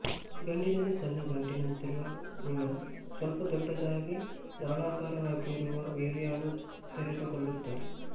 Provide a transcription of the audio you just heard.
ಗಂಡಿನಲ್ಲಿ ಸಣ್ಣ ಗಂಟಿನಂತಿರುವ ವೃಷಣ ಸ್ವಲ್ಪ ದೊಡ್ಡದಾಗಿ ನಾಳಾಕಾರವಾಗಿರುವ ವೀರ್ಯಾಣು ತೆರೆದುಕೊಳ್ಳುತ್ತದೆ